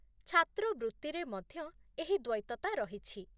ଛାତ୍ରବୃତ୍ତିରେ ମଧ୍ୟ ଏହି ଦ୍ୱୈତତା ରହିଛି।